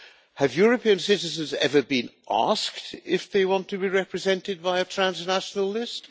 Have European citizens ever been asked if they want to be represented by a transnational list?